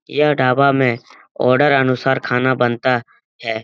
यह ढाबा में आर्डर अनुसार खाना बनता है।